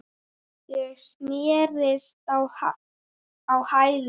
Ég snerist á hæli.